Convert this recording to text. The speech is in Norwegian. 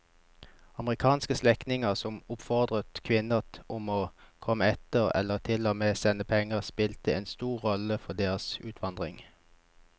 Amerikanske slektninger som oppfordret kvinnene om å komme etter eller til og med sendte penger spilte en stor rolle for deres utvandring.